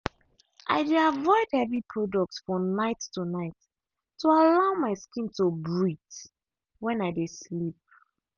i dey avoid heavy products for night to night to allow my skin to breathe when i dey sleep.